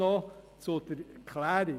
Soviel zur Erklärung.